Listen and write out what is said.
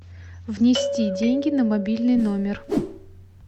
внести деньги на мобильный номер